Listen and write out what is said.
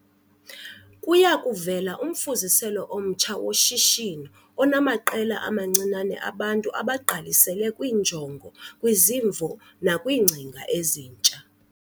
Kuya kuvela umfuziselo omtsha woshishino onamaqela amancinane abantu abagqalisele kwiinjongo, kwizimvo nakwiingcinga ezintsha.